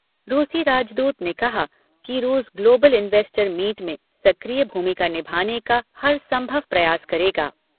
रूसी राजदूत ने कहा कि रूस ग्लोबल इंवेस्टर मीट में सक्रिय भूमिका निभाने का हर संभव प्रयास करेगा।